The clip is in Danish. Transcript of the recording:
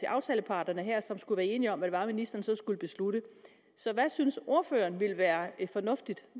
aftaleparterne her som skulle være enige om hvad det var ministeren så skulle beslutte så hvad synes ordføreren ville være fornuftigt